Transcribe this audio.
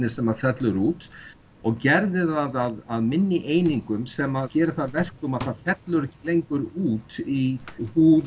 sem fellur út og gerði það að minni einingum sem gerir það að verkum að það fellur ekki lengur út í húð